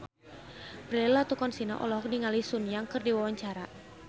Prilly Latuconsina olohok ningali Sun Yang keur diwawancara